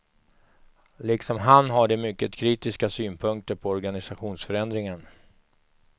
Liksom han har de mycket kritiska synpunkter på organisationsförändringen.